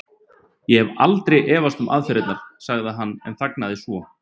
Ég hef aldrei efast um aðferðirnar. sagði hann en þagnaði svo.